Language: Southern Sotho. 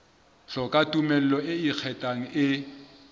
hloka tumello e ikgethang e